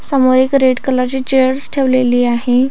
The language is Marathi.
समोर एक रेड कलरची चेअर्स ठेवलेली आहे.